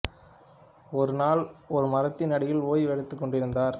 ஒரு நாள் ஒரு மரத்தின் அடியில் ஓய்வு எடுத்துக் கொண்டிருந்தார்